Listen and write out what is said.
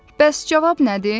Bəs cavab nədir?